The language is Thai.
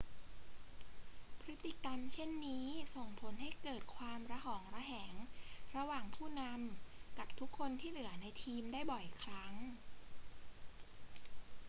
พฤติกรรมเช่นนี้ส่งผลให้เกิดความระหองระแหงระหว่างผู้นำกับทุกคนที่เหลือในทีมได้บ่อยครั้ง